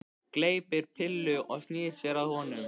Gleypir pillu og snýr sér að honum.